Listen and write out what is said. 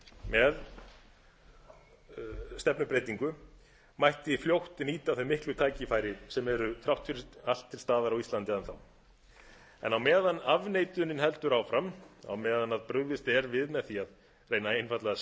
með stefnubreytingu mætti fljótt nýta þau miklu tækifæri sem eru þrátt fyrir allt til staðar á íslandi enn þá en á meðan afneitunin heldur áfram á meðan brugðist er við á því að reyna einfaldlega að